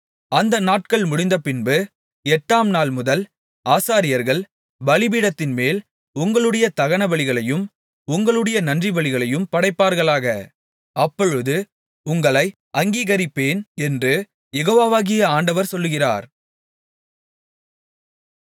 அந்த நாட்கள் முடிந்தபின்பு எட்டாம் நாள்முதல் ஆசாரியர்கள் பலிபீடத்தின்மேல் உங்களுடைய தகனபலிகளையும் உங்களுடைய நன்றிபலிகளையும் படைப்பார்களாக அப்பொழுது உங்களை அங்கீகரிப்பேன் என்று யெகோவாகிய ஆண்டவர் சொல்லுகிறார்